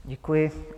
Děkuji.